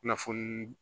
Kunnafoni